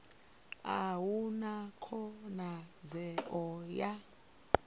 a hu na khonadzeo ya